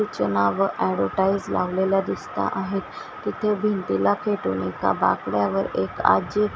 Kitchener वर advertise लावलेल्या दिसता आहेत तिथे भिंतीला खेटून एका बाकड्यावर एक आजी --